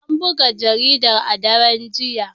An buga jaridar a daren jiya.